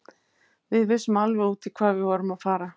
Við vissum alveg út í hvað við vorum að fara.